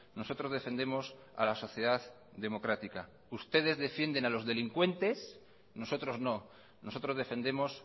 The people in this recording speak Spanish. nosotros defendemos a la sociedad democrática ustedes defienden a los delincuentes nosotros no nosotros defendemos